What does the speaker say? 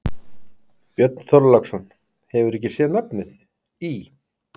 Björn Þorláksson: Hefurðu ekki sé nafnið í?